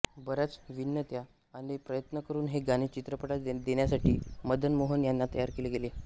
बऱ्याच विनंत्या आणि प्रयत्न करून हे गाणे चित्रपटात देण्यासाठी मदन मोहन यांना तयार केले गेले